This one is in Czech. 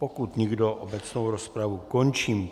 Pokud nikdo, obecnou rozpravu končím.